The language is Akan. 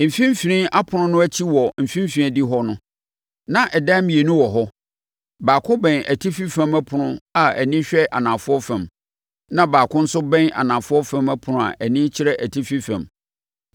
Mfimfini ɛpono no akyi wɔ mfimfini adihɔ no, na adan mmienu wɔ hɔ; baako bɛn atifi fam ɛpono a ani hwɛ anafoɔ fam, na baako nso bɛn anafoɔ fam ɛpono a ani kyerɛ atifi fam.